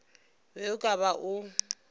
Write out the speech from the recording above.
be o ka ba o